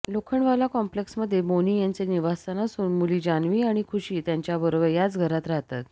Lokhandwala complex मध्ये बोनी यांचे निवासस्थान असून मुली जान्हवी आणि खुशी त्यांच्याबरोबर याच घरात राहतात